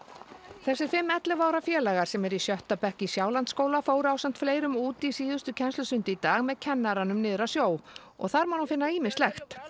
þessir fimm ellefu ára félagar sem eru í sjötta bekk í Sjálandsskóla í fóru ásamt fleirum út í síðustu kennslustund í dag með kennaranum niður að sjó og þar má nú finna ýmislegt